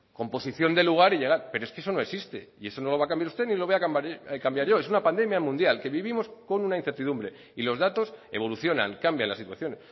composición de lugar y llegar pero es que eso no existe y eso no lo va a cambiar usted ni lo voy a cambiar yo es una pandemia mundial que vivimos con una incertidumbre y los datos evolucionan cambia la situación